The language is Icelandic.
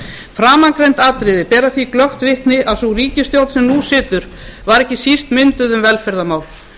framangreind atriði bera því glöggt vitni að sú ríkisstjórn sem nú situr var ekki síst mynduð um velferðarmál